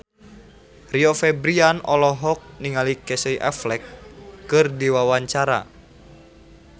Rio Febrian olohok ningali Casey Affleck keur diwawancara